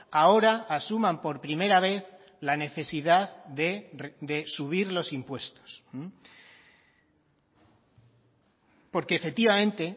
ahora asuman por primera vez la necesidad de subir los impuestos porque efectivamente